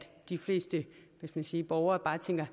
borgere